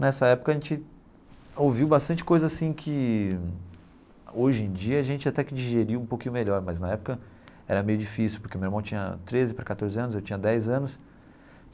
Nessa época a gente ouviu bastante coisa assim que hoje em dia a gente até que digeriu um pouquinho melhor, mas na época era meio difícil, porque meu irmão tinha treze para quatorze anos, eu tinha dez anos.